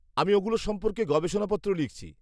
-আমি ওগুলোর সম্পর্কে গবেষণাপত্র লিখছি।